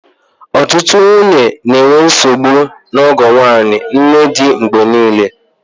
Ọtụtụ ndị nwunye na-enwe nsogbu na ọgọ nwanyị, nnedi mgbe niile